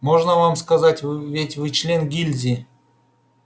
можно вам сказать ведь вы член гильдии